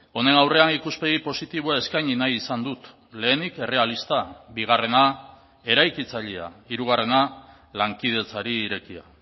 honen aurrean ikuspegi positiboa eskaini nahi izan dut lehenik errealista bigarrena eraikitzailea hirugarrena lankidetzari irekia